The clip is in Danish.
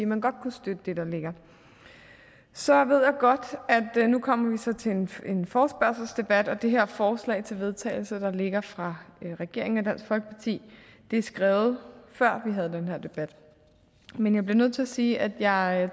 man godt kunne støtte det der ligger så ved jeg godt at vi nu kommer til en forespørgselsdebat og at det her forslag til vedtagelse der ligger fra regeringen og dansk folkeparti er skrevet før vi havde den her debat men jeg bliver nødt til at sige at jeg